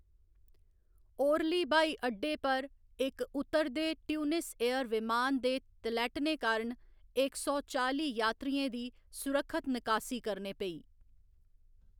Orally ब्हाई अड्डे पर इक उतरदे ट्यूनिस एयर विमान दे तलैह्टने कारण इक सौ चाली यात्रियें दी सुरक्खत निकासी करनी पेई।